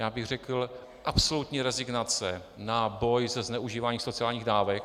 Já bych řekl absolutní rezignace na boj se zneužíváním sociálních dávek.